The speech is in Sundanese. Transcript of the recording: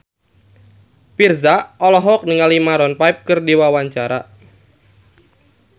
Virzha olohok ningali Maroon 5 keur diwawancara